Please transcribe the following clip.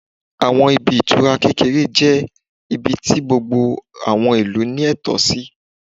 Àwọn ibi ìtura kékeré jẹ́ ibi tí gbogbo àwọn ìlú ní ẹ̀tọ́ sí